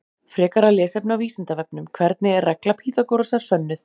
Frekara lesefni á Vísindavefnum: Hvernig er regla Pýþagórasar sönnuð?